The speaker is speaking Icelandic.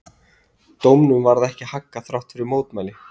Dómnum varð ekki haggað þrátt fyrir mótmæli.